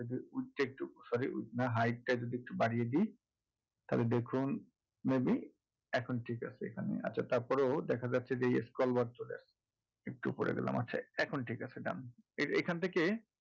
width তা একটু sorry width না height টা যদি একটু বাড়িয়ে দিই তাহলে দেখুন maybe এখন ঠিক আছে এখানে আচ্ছা তারপরেও দেখা যাচ্ছে যে এই scroll bar চলে আসছে একটু ওপরে গেলাম আচ্ছা এখন ঠিক আছে done এখন থেকে